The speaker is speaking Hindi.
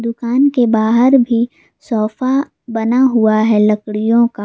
दुकान के बाहर भी सोफा बना हुआ है लड़कियों का।